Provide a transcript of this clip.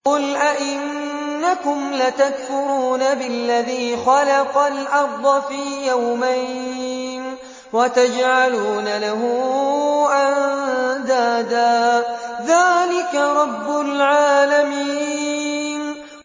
۞ قُلْ أَئِنَّكُمْ لَتَكْفُرُونَ بِالَّذِي خَلَقَ الْأَرْضَ فِي يَوْمَيْنِ وَتَجْعَلُونَ لَهُ أَندَادًا ۚ ذَٰلِكَ رَبُّ الْعَالَمِينَ